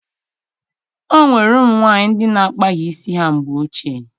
O nwere ụmụ nwaanyị ndị na-akpaghị isi ha mgbe ochie